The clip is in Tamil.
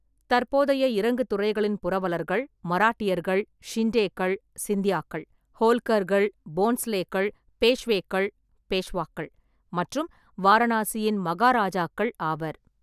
தற்போதைய இறங்கு துறைகளின் புரவலர்கள் மராட்டியர்கள், ஷிண்டேக்கள் (சிந்தியாக்கள்), ஹோல்கர்கள், போன்ஸ்லேக்கள், பேஷ்வேக்கள் (பேஷ்வாக்கள்) மற்றும் வாரணாசியின் மகாராஜாக்கள் ஆவர்.